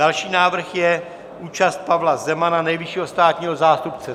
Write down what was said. Další návrh je účast Pavla Zemana, nejvyššího státního zástupce.